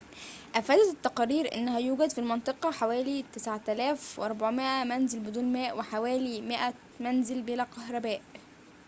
أفادت التقارير أنه يوجد في المنطقة حوالي 9400 منزل بدون ماء وحوالي 100 منزل بلا كهرباء